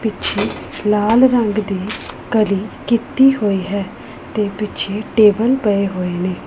ਪਿੱਛੇ ਲਾਲ ਰੰਗ ਦੀ ਕਲੀ ਕੀਤੀ ਹੋਈ ਹੈ ਤੇ ਪਿੱਛੇ ਟੇਬਲ ਪਏ ਹੋਏ ਨੇ।